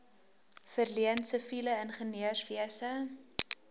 verleen siviele ingenieurswese